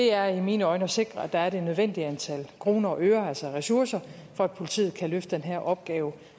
er i mine øjne at sikre at der er det nødvendige antal kroner og øre altså ressourcer for at politiet kan løfte den her opgave